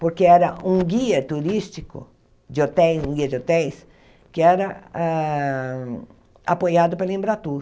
Porque era um guia turístico de hotéis, um guia de hotéis, que era ah apoiado pela Embratur.